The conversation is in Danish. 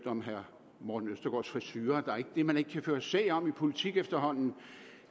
om herre morten østergaards frisure der er ikke det man ikke kan føre sag om i politik efterhånden